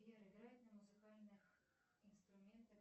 сбер играть на музыкальных инструментах